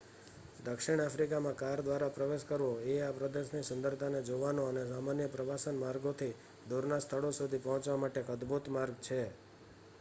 દક્ષિણ આફ્રિકામાં કાર દ્વારા પ્રવેશ કરવો એ આ પ્રદેશની સુંદરતાને જોવાનો અને સામાન્ય પ્રવાસન માર્ગોથી દૂરના સ્થળો સુધી પહોંચવા માટે એક અદભૂત માર્ગ છે